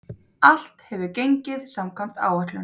Allt hefur gengið samkvæmt áætlun.